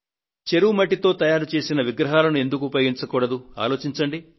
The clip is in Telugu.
చెరువు మట్టితో తయారుచేసిన విగ్రహాలను ఎందుకు ఉపయోగించకూడదు ఆలోచించండి